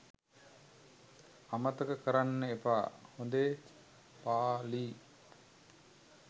අමතක කරන්න එපා හොදේ. ප.ලි.